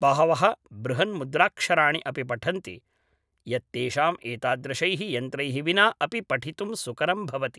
बहवः बृहन्मुद्राक्षराणि अपि पठन्ति, यत् तेषाम् एतादृशैः यन्त्रैः विना अपि पठितुं सुकरं भवति